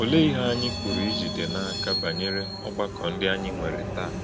Olè̄e íhè̄ ànyị̄ pụ̀rù̄ ìjìdè̄ n’ákà bànyèrè̄ ọ̀gbàkọ̄ ndị́ ànyị̄ nwèrè̄?